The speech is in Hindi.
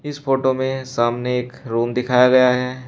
इस फोटो में सामने एक रूम दिखाया गया है।